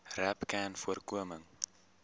rapcanvoorkoming